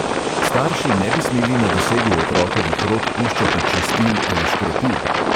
"Starši ne bi smeli na dosegu otrokovih rok puščati čistil ali škropiv."